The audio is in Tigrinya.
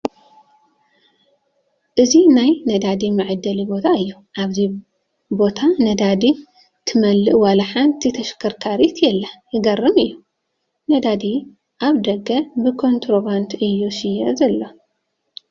እዚ ናይ ነዳዲ መዓደሊ ቦታ እዩ፡፡ ኣብዚ ቦታ ነዳዲ ትመልእ ዋላ ሓንቲ ተሽከርካሪት የላን፡፡ ይገርም እዩ፡፡ ነዳዲ ኣብ ደገ ብኮንትሮባንድ እዩ ዝሽየጥ ዘሎ፡፡